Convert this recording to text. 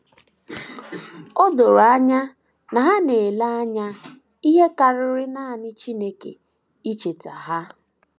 O doro anya na ha na - ele anya ihe karịrị nanị Chineke icheta aha ha.